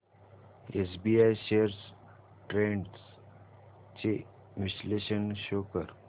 SBI shares trends चे विश्लेषण show कर